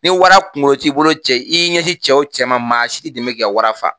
Ni wara kungo t'i bolo cɛ i y'i ɲɛ sin cɛ o cɛ ma maa si t'i dɛmɛ k'i ka wara faa.